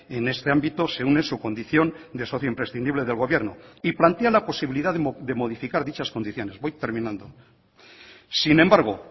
en este ámbito se une su condición de socio imprescindible del gobierno y plantea la posibilidad de modificar dichas condiciones voy terminando sin embargo